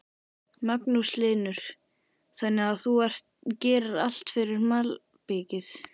Magnús Hlynur: Þannig að þú gerir allt fyrir malbikið?